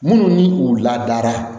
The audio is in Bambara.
Minnu ni u ladara